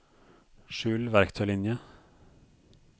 skjul verktøylinje